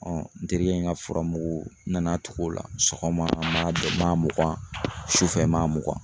n terikɛ in ŋa furamugu n nana tug'o la. Sɔgɔma m'a don m'a mugan sufɛ m'a mugan.